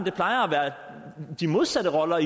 de modsatte roller